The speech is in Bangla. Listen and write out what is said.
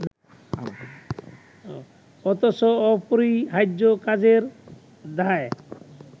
অথচ অপরিহার্য কাজের দায়